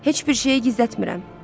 Heç bir şeyi gizlətmirəm.